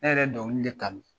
Hɛrɛ dɔnkili de ka di